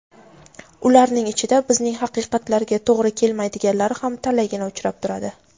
ularning ichida bizning haqiqatlarga to‘g‘ri kelmaydiganlari ham talaygina uchrab turadi.